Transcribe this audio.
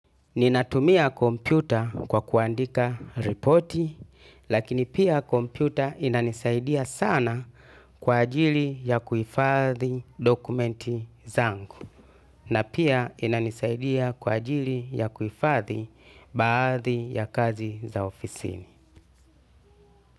Ninatumia kompyuta kwa kuandika reporti, lakini pia kompyuta inanisaidia sana kwa ajili ya kuifadhi dokumenti zangu, na pia inanisaidia kwa ajili ya kuifadhi baadhi ya kazi za ofisini.